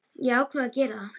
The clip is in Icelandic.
Ég ákvað að gera það.